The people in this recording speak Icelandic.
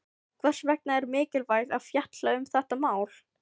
Hvers vegna er mikilvægt að fjalla um þetta mál?